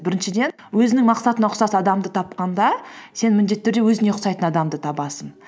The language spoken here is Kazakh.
біріншіден өзінің мақсатыңа ұқсас адамды тапқанда сен міндетті түрде өзіңе ұқсайтын адамды табасың